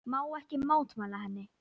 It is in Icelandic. Má ekki mótmæla henni.